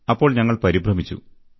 അപ്പോൾ ഞങ്ങൾ പരിഭ്രമിച്ചു